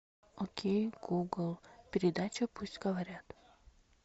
окей гугл передача пусть говорят